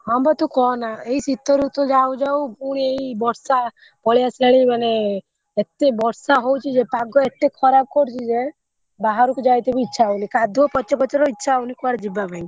ହଁ ବା ତୁ କହନା ଏଇ ଶୀତ ଋତୁ ଯାଉ ଯାଉ ପୁଣି ଏଇ ବର୍ଷା ପଳେଇଆସିଲାଣି ମାନେ ଏତେ ବର୍ଷା ହଉଛି ଯେ ପାଗ ଏତେ ଖରାପ କରୁଛି ଯେ ବାହାରକୁ ଯାଇତେ ବି ଇଚ୍ଛା ହଉନି କାଦୁଅ ପଚପଚର ଇଚ୍ଛା ହଉନି କୁଆଡେ ଯିବା ପାଇଁ।